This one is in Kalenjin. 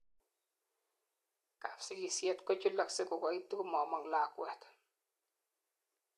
kapsigisiet kochulaksei kokaitu komomong lakwet